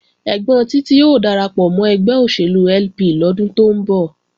Ẹ́gbọ́n Títí ó darapọ̀ mọ́ ẹgbẹ́ òṣèlú LP lọ́dún tó ń bọ̀